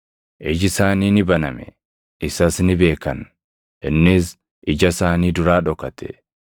Iji isaanii ni baname; isas ni beekan; innis ija isaanii duraa dhokate.